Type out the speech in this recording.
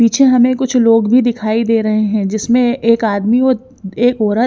पीछे हमे कुछ लोग भी दिखाई दे रहे है जिसमे एक आदमी एक औरत --